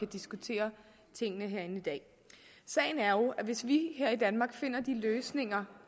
diskutere tingene herinde i dag sagen er jo at hvis vi her i danmark finder de løsninger